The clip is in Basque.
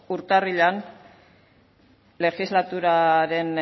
urtarrilean legislaturaren